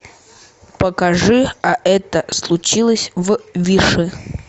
покажи а это случилось в виши